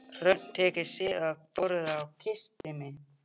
Hrönn teygði sig yfir borðið og kyssti mig.